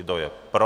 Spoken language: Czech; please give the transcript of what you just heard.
Kdo je pro?